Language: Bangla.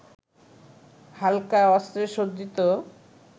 হালকা অস্ত্রে সজ্জিত